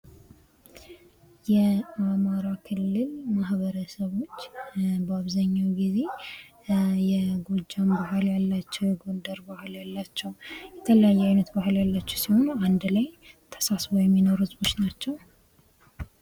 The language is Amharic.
የአማራ ክልል ማህበረሰቦች በአብዛኛው ጊዜ የጎጃም ባህል ያላቸው የጎንደር ባህል ያላቸው የተለያየ አይነት ባህል ያላቸው ሲሆኑ አንድ ላይ ተሳስበው የሚኖሩ ህዝቦች ናቸው ::